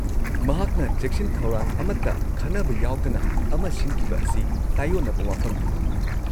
- ꯃꯍꯥꯛꯅ ꯆꯦꯛꯁꯤꯟ-ꯊꯧꯔꯥꯡ ꯑꯃꯠꯇ ꯈꯟꯅꯕ ꯌꯥꯎꯗꯅ ꯑꯃ ꯁꯤꯟꯈꯤꯕ ꯑꯁꯤ ꯇꯥꯌꯣꯟꯅꯕ ꯋꯥꯐꯝꯅꯤ ꯫